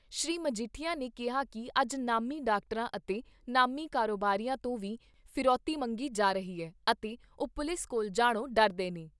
ਸ੍ਰੀ ਮਜੀਠੀਆ ਨੇ ਕਿਹਾ ਕਿ ਅੱਜ ਨਾਮੀ ਡਾਕਟਰਾਂ ਅਤੇ ਨਾਮੀ ਕਾਰੋਬਾਰੀਆਂ ਤੋਂ ਵੀ ਫਿਰੌਤੀ ਮੰਗੀ ਜਾ ਰਹੀ ਐ ਅਤੇ ਉਹ ਪੁਲਿਸ ਕੋਲ ਜਾਣੋ ਡਰਦੇ ਨੇ।